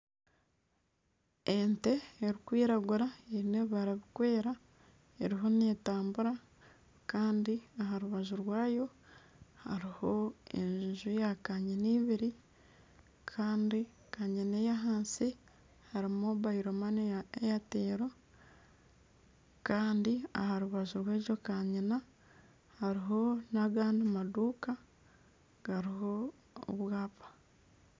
Ente erikwiragura eyine ebibara biri kwera eriho netambura Kandi aharubaju rwayo hariho enju ya kanyina ibiri Kandi kanyina eyahansi harimu mobayiro mane ya eyatero Kandi aharubaju rwegyo kanyina hariho nagandi maduuka gariho obwapa.